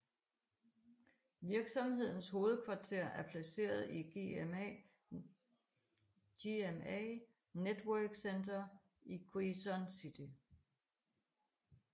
Virksomhedens hovedkvarter er placeret i GMA Network Center i Quezon City